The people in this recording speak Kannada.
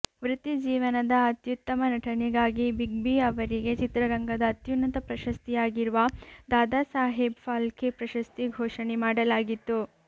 ವೃತ್ತಿಜೀವನದ ಅತ್ಯುತ್ತಮ ನಟನೆಗಾಗಿ ಬಿಗ್ ಬಿ ಅವರಿಗೆ ಚಿತ್ರರಂಗದ ಅತ್ಯುನ್ನತ ಪ್ರಶಸ್ತಿ ಯಾಗಿರುವ ದಾದಾಸಾಹೇಬ್ ಫಾಲ್ಕೆ ಪ್ರಶಸ್ತಿ ಘೋಷಣೆ ಮಾಡಲಾಗಿತ್ತು